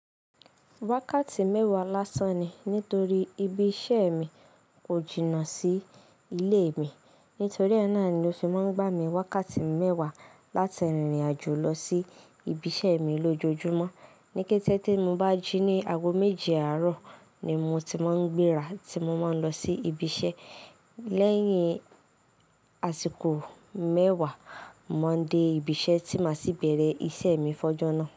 Wákàtí mẹ́wàá lásán ni nítorí ibi iṣẹ́ mi kò jìnnà sí ilé mi. Nítorí ẹ ná ni ó fi máa ń gbà mí ni wákàtí mẹ́wàá láti rìnrìn àjò lọ sí ibi iṣẹ́ mi lójoojúmọ́. Ni kété tí mo bá jí ní aago méje àárọ̀ ni mo ti máa ń gbéra tí mo máa ń lọ sí ibi iṣẹ́. Lẹ́yìn àsìkò mẹ́wàá, mo ma n dé ibi iṣẹ́ tí màá sì bẹ̀rẹ̀ iṣẹ́ mi fọ́jọ́ náà.